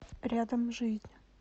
рядом жизнь